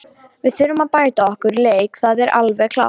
Við þurfum að bæta okkar leik, það er alveg klárt.